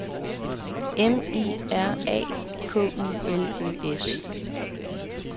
M I R A K U L Ø S